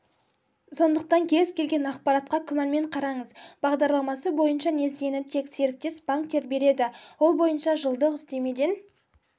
сондықтан кез-келген ақпаратқа күмәнмен қараңыз бағдарламасы бойынша несиені тек серіктес-банктер береді ол бойынша жылдық үстемеден